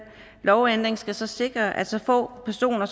lovændringer skal så sikre at så få personer